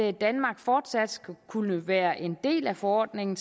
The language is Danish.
at danmark fortsat skal kunne være en del af forordningen